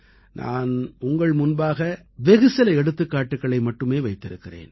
நான் உங்கள் முன்பாக வெகுசில எடுத்துக்காட்டுக்களை மட்டுமே வைத்திருக்கிறேன்